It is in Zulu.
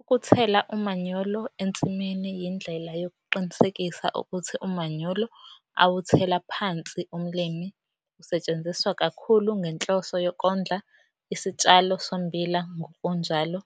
Ukuthela umanyolo ensimini yindlela yokuqinisekisa ukuthi umanyolo awuthela phansi umlimi usetshenziswa kakhulu ngenhloso yokondla isitshalo sommbila ngokunjalo